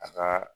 A ka